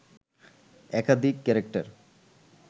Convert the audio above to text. একাধিক ক্যারেক্টার